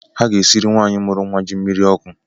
Ha ga-esiri nwanyị mụrụ nwa ji mmiri ọkụ